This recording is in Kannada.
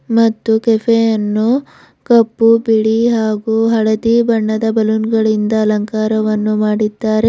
ಮತ್ತು ಕೆಫೆ ಅನ್ನು ಕಪ್ಪು ಬಿಳಿ ಹಾಗು ಹಳದಿ ಬಣ್ಣದ ಬಲೂನ್ ಗಳಿಂದ ಅಲಂಕಾರವನ್ನು ಮಾಡಿದ್ದಾರೆ.